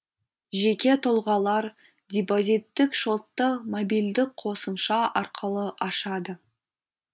жеке тұлғалар депозиттік шотты мобильдік қосымша арқылы ашады